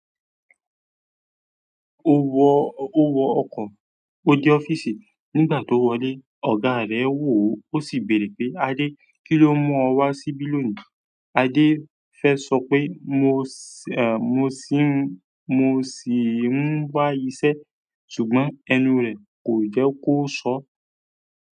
Ó wọ, ó wọ ọkọ̀. Ó dé ọ́fíìsì. Nígbà tó wọlé, ọ̀gá rẹ̀ wò ó, ó sì béèrè pé, "Adé, kí ló mú ọ wá síbí lónìí?" Adé fẹ́ sọ pé, "Mo sì ń, mo sì ń wá iṣẹ́," ṣùgbọ́n ẹnu rẹ̀ kò jẹ́ kó sọ ọ́.